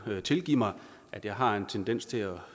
tilgive mig at jeg har en tendens til at